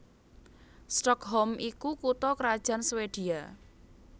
Stockholm iku kutha krajan Swédia